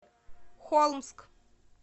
холмск